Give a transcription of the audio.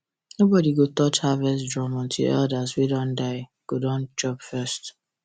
nobody go touch harvest drum until elders wey don die go don chop first